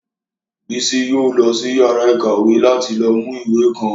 Bísí yóò lọ sí yàrá ìkàwé láti lọ mú ìwé kan